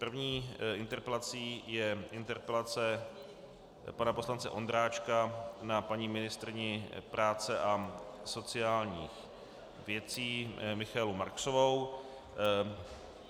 První interpelací je interpelace pana poslance Ondráčka na paní ministryni práce a sociálních věcí Michaelu Marksovou.